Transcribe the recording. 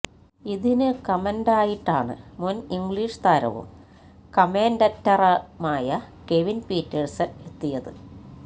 ഇതിന് കമന്റായിട്ടാണ് മുൻ ഇംഗ്ലീഷ് താരവും കമന്റേറ്ററുമായ കെവിൻ പീറ്റേഴ്സൻ എത്തിയത്